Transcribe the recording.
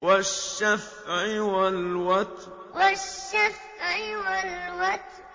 وَالشَّفْعِ وَالْوَتْرِ وَالشَّفْعِ وَالْوَتْرِ